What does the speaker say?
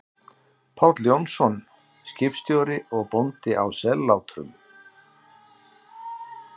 Páll Jónsson, skipstjóri og bóndi, á Sellátrum.